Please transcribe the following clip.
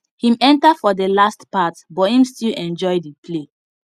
him enter for the last part but him still enjoy the play